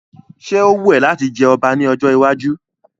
Ṣé ó wù ẹ́ láti jẹ ọba ní ọjọ́ iwájú?